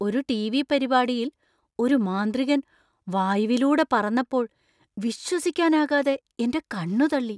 ഒരു ടിവി പരിപാടിയിൽ ഒരു മാന്ത്രികൻ വായുവിലൂടെ പറന്നപ്പോൾ വിശ്വസിക്കാനാകാതെ എന്‍റെ കണ്ണു തള്ളി.